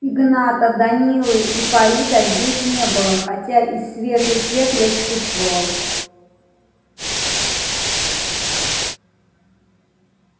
игната данилы и фарида здесь не было хотя и свежий след я чувствовал